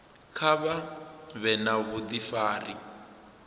kha vha vhe na vhudifari